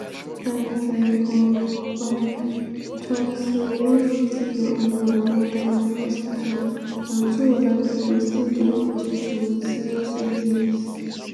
andrei vorobyev tok say one 50-year-old man don die for hospital and two oda pipo still dey hospital wit serious injuries.